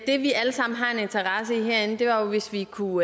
det vi alle sammen har en interesse i herinde er jo hvis vi kunne